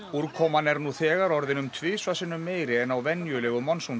úrkoman er nú þegar orðin um tvisvar sinnum meiri en á venjulegu